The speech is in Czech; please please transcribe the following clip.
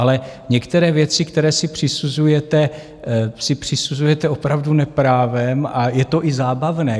Ale některé věci, které si přisuzujete, si přisuzujete opravdu neprávem a je to i zábavné.